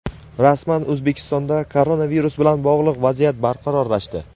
Rasman: O‘zbekistonda koronavirus bilan bog‘liq vaziyat barqarorlashdi.